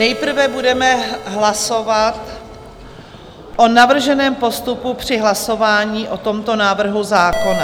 Nejprve budeme hlasovat o navrženém postupu při hlasování o tomto návrhu zákona.